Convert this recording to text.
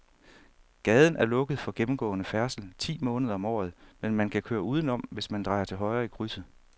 Gaden er lukket for gennemgående færdsel ti måneder om året, men man kan køre udenom, hvis man drejer til højre i krydset.